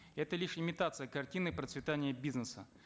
это лишь имитация картины процветания бизнеса